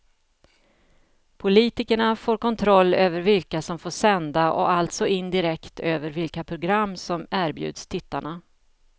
Politikerna får kontroll över vilka som får sända och alltså indirekt över vilka program som erbjuds tittarna.